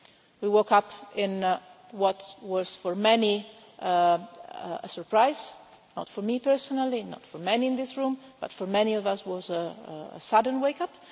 We woke up in what was for many a surprise, not for me personally, not for many in this room, but for many of us was a sudden wake up.